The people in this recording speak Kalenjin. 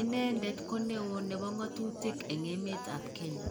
inendet koneo nebo ngotutik en emet ab kenya.